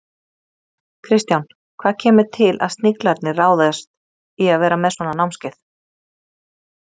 Kristján, hvað kemur til að Sniglarnir ráðist í að vera með svona námskeið?